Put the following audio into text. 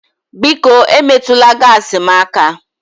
Biko emetụla gaasi m aka